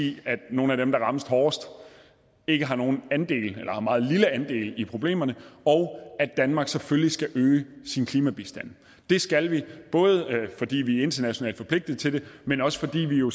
i at nogle af dem der rammes hårdest ikke har nogen andel eller har en meget lille andel i problemerne og at danmark selvfølgelig skal øge sin klimabistand det skal vi både fordi vi er internationalt forpligtet til det men også fordi vi jo